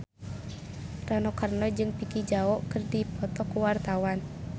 Rano Karno jeung Vicki Zao keur dipoto ku wartawan